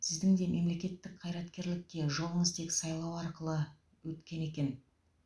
сіздің де мемлекеттік қайраткерлікке жолыңыз тек сайлау арқылы өткен екен